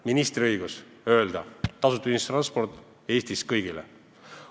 Ministril ei ole õigust öelda, et tasuta ühistransport Eestis kõigile.